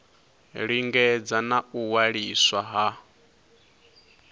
lingedza na u waliswa ha